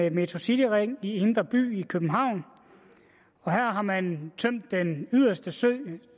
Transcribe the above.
en metrocityring i indre by i københavn og her har man tømt den yderste sø